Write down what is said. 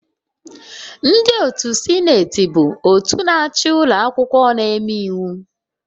Ndị otu Sineti bụ òtù na-achị ụlọ akwụkwọ na-eme iwu